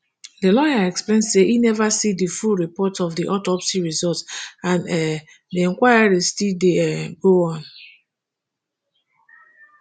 di lawyer explain say e neva see di full report of di autopsy result and um di inquiry still dey um go on